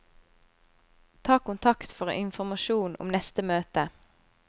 Ta kontakt for informasjon om neste møte.